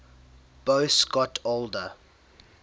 boas got older